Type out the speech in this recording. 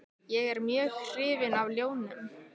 Ég er mjög hrifinn af ljónum.